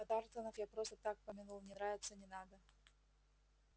а тарлтонов я просто так помянул не нравятся не надо